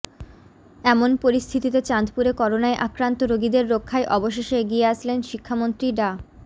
এমন পরিস্থিতিতে চাঁদপুরে করোনায় আক্রান্ত রোগীদের রক্ষায় অবশেষে এগিয়ে আসলেন শিক্ষামন্ত্রী ডা